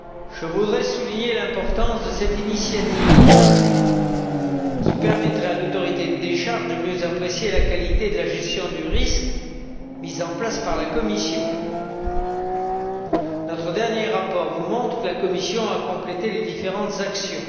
Je voudrais souligner l'importance de cette initiative qui permettra à l'autorité de décharge de mieux apprécier la qualité de la gestion du risque mise en place par la Commission. Notre dernier rapport vous montre que la Commission a complété les différentes actions.